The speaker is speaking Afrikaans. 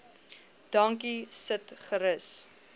dankie sit gerus